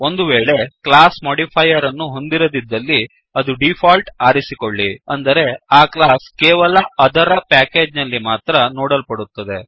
ಒಂದು ವೇಳೆ class modifier ಅನ್ನು ಹೊಂದಿರದಿದ್ದಲ್ಲಿ ಅದು ಡಿಫಾಲ್ಟ್ ಆರಿಸಿಕೊಳ್ಳಿ ಅಂದರೆ ಆ ಕ್ಲಾಸ್ ಕೇವಲ ಅದರ ಪ್ಯಾಕೇಜ್ ನಲ್ಲಿ ಮಾತ್ರ ನೋಡಲ್ಪಡುತ್ತದೆ